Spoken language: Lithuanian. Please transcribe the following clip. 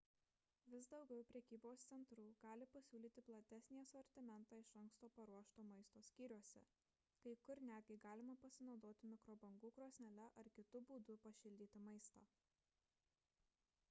vis daugiau prekybos centrų gali pasiūlyti platesnį asortimentą iš anksto paruošto maisto skyriuose kai kur netgi galima pasinaudoti mikrobangų krosnele ar kitu būdu pašildyti maistą